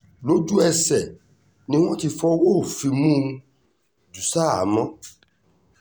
lójú-ẹsẹ̀ ni wọ́n ti fọwọ́ òfin mú un jù ṣahámọ́